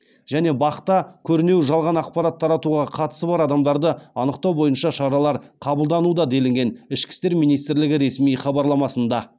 және бақ та көрінеу жалған ақпарат таратуға қатысы бар адамдарды анықтау бойынша шаралар қабылдануда делінген ішкі істер министрлігі ресми хабарламасында